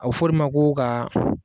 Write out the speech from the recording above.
A bi f'o de ma ko ka.